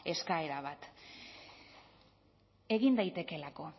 eskaera bat egin daitekeelako